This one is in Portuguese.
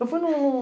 Eu fui num...